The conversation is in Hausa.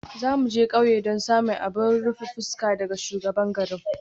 Za mu je ƙauye don samun abin rufe fuska daga shugaban garin.